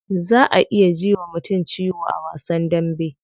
Za a iya ji wa mutum ciwo a wasan dambe.